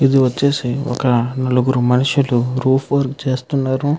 ఇధీ ఒచేసి నలుగురు మనుషుల్లు రూఫ్ వర్క్ చేస్తున్నారు.